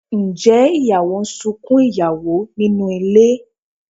Ǹjẹ́ ìyàwó ń sunkún ìyàwó nínú ilé?